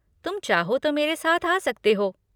तुम चाहो तो मेरे साथ आ सकते हो।